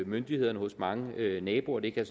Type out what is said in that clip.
myndighederne hos mange naboer det kan